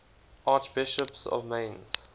archbishops of mainz